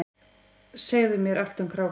Segðu mér allt um krákur.